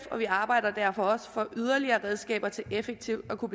og vi arbejder derfor også for yderligere redskaber til effektivt at kunne